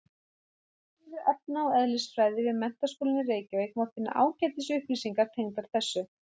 Á vefsíðu efna- og eðlisfræði við Menntaskólann í Reykjavík má finna ágætis upplýsingar tengdar þessu.